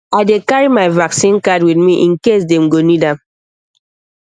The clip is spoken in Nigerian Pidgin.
i dey carry my vaccine card with me in case dem go need am